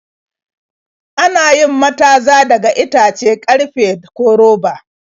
Ana yin mataza daga itace, karfe, ko roba.